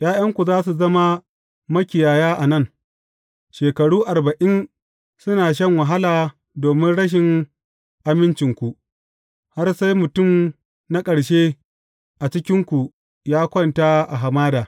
’Ya’yanku za su zama makiyaya a nan, shekaru arba’in suna shan wahala domin rashin amincinku, har sai mutum na ƙarshe a cikinku ya kwanta a hamada.